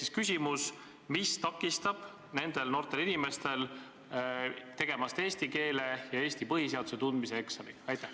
Minu küsimus on: mis takistab nendel noortel inimestel tegemast eesti keele ja Eesti põhiseaduse tundmise eksamit?